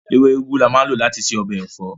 Ewé úgú ni a máa ń lò láti ṣe ọbẹ̀ ẹ̀fọ́